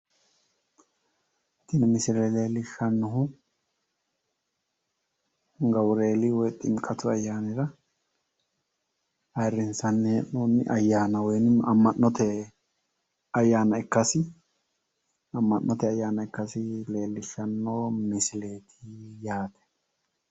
Tini misile leellishshannohu gaburieel woy ximiqqatu ayyaanira ayiirrissanni hee'noonni ayyaana woy amma'note ayyaana ikkasi leellishshanno misileeti yaate